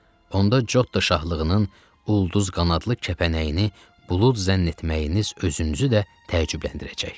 Onda Cotta şahlığının ulduz qanadlı kəpənəyini bulud zənn etməyiniz özünüzü də təəccübləndirəcək.